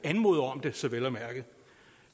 anmoder om dette så